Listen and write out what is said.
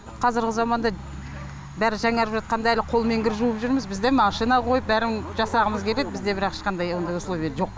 қазіргі заманда бәрі жаңарып жатқанда әлі қолмен кір жуып жүрміз біз де машина қойып бәрін жасағымыз келед бізде бірақ ешқандай ондай условия жоқ